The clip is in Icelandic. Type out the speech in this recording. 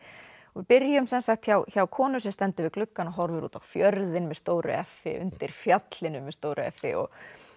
við byrjum hjá hjá konu sem stendur við gluggann og horfir út á fjörðinn með stóru f i undir fjallinu með stóru f i og